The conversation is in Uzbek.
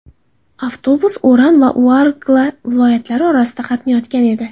Avtobus Oran va Uargla viloyatlari orasida qatnayotgan edi.